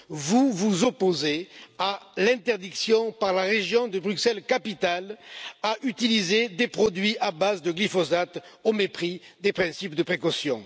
Vous vous opposez à l'interdiction décrétée par la région de Bruxelles Capitale d'utiliser des produits à base de glyphosate au mépris des principes de précaution.